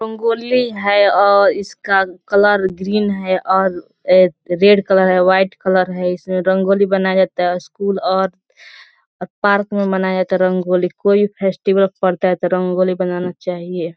रंगोली है और इसका कलर ग्रीन है और ए रेड कलर है वाइट कलर है। इसमें रंगोली बनाया जाता है। उसकूल और और पार्क में मनाया जाता है रंगोली। कोई भी फेस्टिवल पड़ता है तो रंगोली बनाना चाहिए।